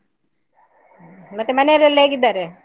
ಮತ್ತೆ ಮನೆಯಲ್ಲೆಲ್ಲ ಹೇಗಿದ್ದಾರೆ?